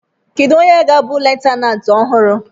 Kedu onye ga-abụ leftenanti ọhụrụ?